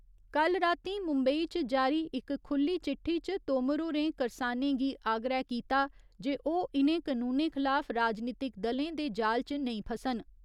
कल्ल रातीं मुम्बई च जारी इक खुल्ली चिट्ठी च तोमर होरें करसानें गी आग्रह कीता जे ओह् इनें कनूनें खलाफ राजनीतिक दलें दे जाल च नेंई फसन।